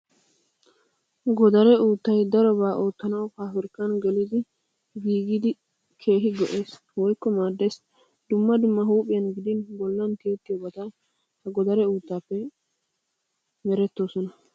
Godaree uuttay darobaa oottanawu pabrikkan gelidi giigidi keehi go'ees woyikko maaddes. Dumma dumma huuphiyan gidin bollan tiyettiyoobati ha godaree uuttaappe merettoosona.